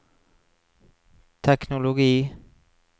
teknologi